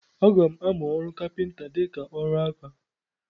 Aga m amụ ọrụ kapịnta dịka ọrụ aka.